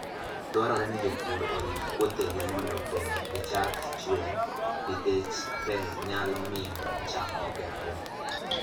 Dwarore ni jopur orit puothegi mondo pe gichak chwer nikech pe nyalo miyo cham okethre.